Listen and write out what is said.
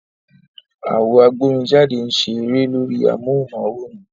Àwo agbórinjáde ń ṣe a eré lórí amóhùnm'áwòrán